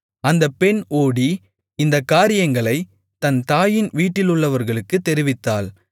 அந்தப் பெண் ஓடி இந்தக் காரியங்களைத் தன் தாயின் வீட்டிலுள்ளவர்களுக்குத் தெரிவித்தாள்